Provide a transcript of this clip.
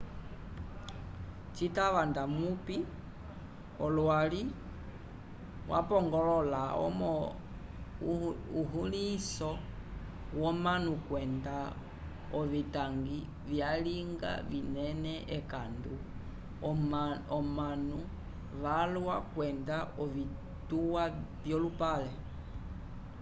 citava da mupi olwali wapongolola momo ulihinso vomanu kwenda ovitangwi vyalinga vinene ekandu omanu valwa kwenda ovitwa vyolupale